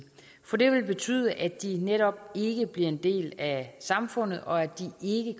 for det vil betyde at de netop ikke bliver en del af samfundet og at de